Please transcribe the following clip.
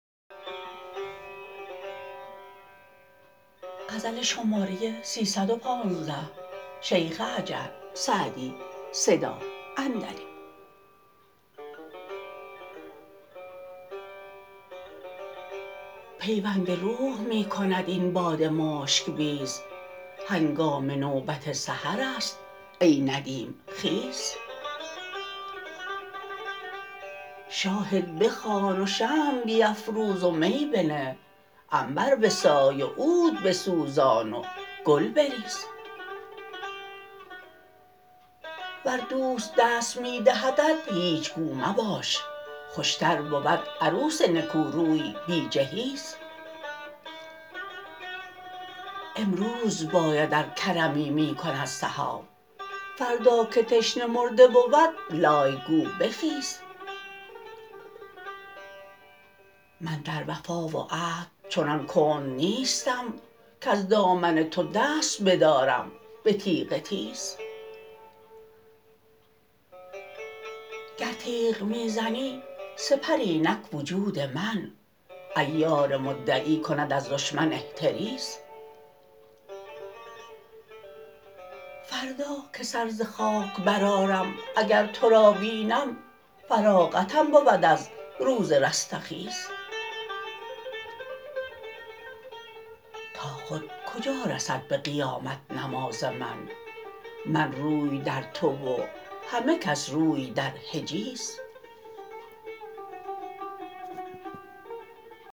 پیوند روح می کند این باد مشک بیز هنگام نوبت سحرست ای ندیم خیز شاهد بخوان و شمع بیفروز و می بنه عنبر بسای و عود بسوزان و گل بریز ور دوست دست می دهدت هیچ گو مباش خوشتر بود عروس نکوروی بی جهیز امروز باید ار کرمی می کند سحاب فردا که تشنه مرده بود لای گو بخیز من در وفا و عهد چنان کند نیستم کز دامن تو دست بدارم به تیغ تیز گر تیغ می زنی سپر اینک وجود من عیار مدعی کند از دشمن احتریز فردا که سر ز خاک برآرم اگر تو را بینم فراغتم بود از روز رستخیز تا خود کجا رسد به قیامت نماز من من روی در تو و همه کس روی در حجیز سعدی به دام عشق تو در پای بند ماند قیدی نکرده ای که میسر شود گریز